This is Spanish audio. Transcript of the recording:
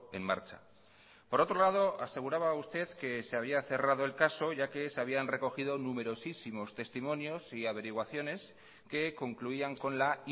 en marcha por otro lado aseguraba usted que se había cerrado el caso ya que se habían recogido numerosísimos testimonios y averiguaciones que concluían con la